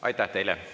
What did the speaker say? Aitäh teile!